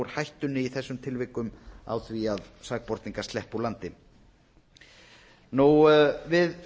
hættunni í þessum tilvikum á því að sakborningar sleppi úr aldri við